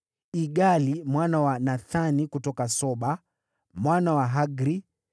Igali mwana wa Nathani kutoka Soba; Bani, Mgadi;